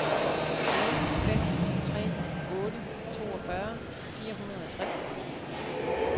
nul fem tre otte toogfyrre fire hundrede og tres